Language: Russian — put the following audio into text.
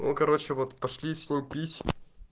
ну короче вот пошли с ним пить